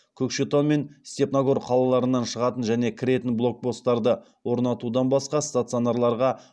көкшетау мен степногор қалаларынан шығатын және кіретін блокпостарды орнатудан басқа стационарларға